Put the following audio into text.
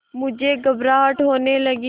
मुझे घबराहट होने लगी